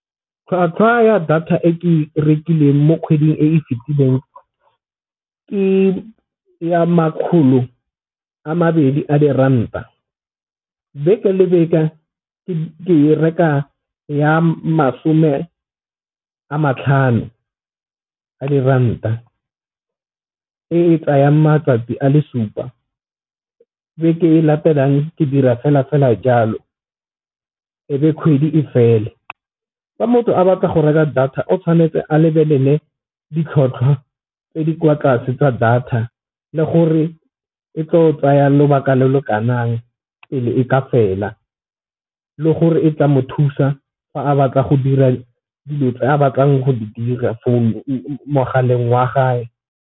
Tlhwatlhwa ya data e ke e rekileng mo kgweding e e fetileng, ke ya makgolo a mabedi a diranta. Beke le beke ke reka ya masome a matlhano a diranta e e tsayang matlapa a le supa. Beke e e latelang ke dira fela fela jalo ebe kgwedi e fele. Fa motho a batla go reka data o tshwanetse a lebelele ditlhotlhwa tse di kwa tlase tsa data le gore e tlo tsaya lobaka lo lo pele e ka fela, le gore e tla mo thusa fa a batla go dira dilo tse a batlang go di dira mogaleng wa gage.